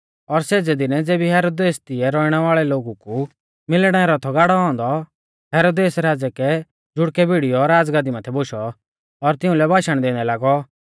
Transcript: और सेज़ै दिनै ज़ेबी हेरोदेसै तिऐ रौइणै वाल़ै लोगु कु मिलणै रौ थौ गाड़ौ औन्दौ हेरोदेसै राज़ै रै जुड़कै भिड़ीयौ राज़गादी माथै बोशौ और तिउंलै भाषण दैंदै लागौ